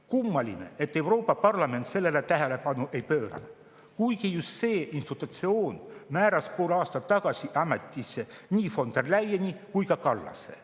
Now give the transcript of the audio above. Kummaline, et Euroopa Parlament sellele tähelepanu ei pööranud, kuigi just see institutsioon määras pool aastat tagasi ametisse nii von der Leyeni kui ka Kallase.